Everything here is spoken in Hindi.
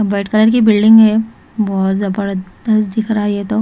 व्हाइट कलर की बिल्डिंग है। बहोत जबरदस्त दिख रहा है ये तो।